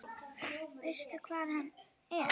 Veistu hvar hann er?